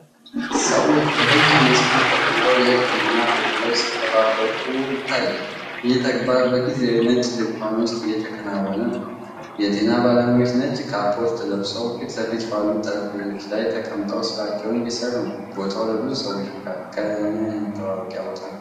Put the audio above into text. ከሰዎች በረጅም መስመር ተቀምጠው የሕክምና አገልግሎት ሲጠባበቁ ይታያል። ይህ ተግባር በጊዜያዊ ነጭ ድንኳን ውስጥ እየተከናወነ ነው። የጤና ባለሙያዎች ነጭ ካፖርት ለብሰው ፊትለፊት ባሉት ጠረጴዛዎች ላይ ተቀምጠው ስራቸውን እየሰሩ ነው። ቦታው ለብዙ ሰዎች መካከለኛ የመጠባበቂያ ቦታ ነው።